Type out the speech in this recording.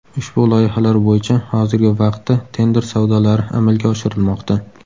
Ushbu loyihalar bo‘yicha hozirgi vaqtda tender savdolari amalga oshirilmoqda.